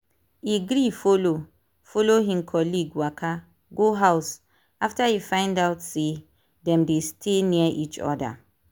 e gree follow follow him colleague waka go house after e find out say dem dey stay near each other.